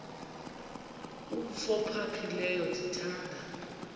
umf ophaphileyo ndithanda